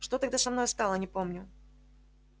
что тогда со мною стало не помню